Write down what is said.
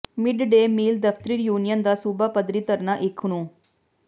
mid day meal ਦਫ਼ਤਰੀ union ਦਾ ਸੂਬਾ ਪੱਧਰੀ ਧਰਨਾ ਇਕ ਨੂੰ